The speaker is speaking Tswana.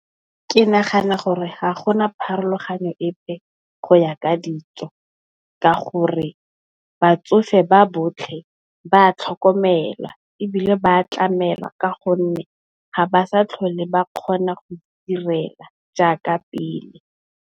Ke nagana gore ga gona pharologano epe go yaka dijo ka gore batsofe ba botlhe ba tlhokomelwa ebile, ba tlamela ka gonne ga ba sa tlhole ba kgona go itirela jaaka pele.